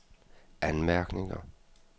anmærkninger